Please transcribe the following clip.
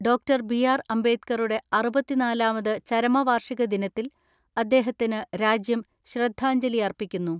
Doctor .B R അംബേദ്കറുടെ അറുപത്തിനാലാമത് ചരമവാർഷിക ദിനത്തിൽ അദ്ദേഹത്തിന് രാജ്യം ശ്രദ്ധാഞ്ജലിയർപ്പിക്കുന്നു.